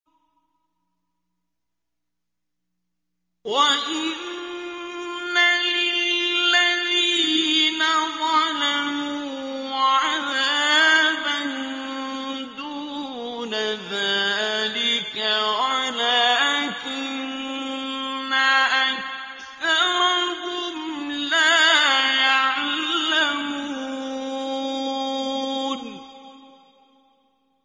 وَإِنَّ لِلَّذِينَ ظَلَمُوا عَذَابًا دُونَ ذَٰلِكَ وَلَٰكِنَّ أَكْثَرَهُمْ لَا يَعْلَمُونَ